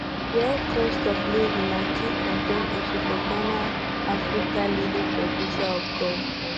di high cost of living na key campaign issue for ghana africa leading producer of gold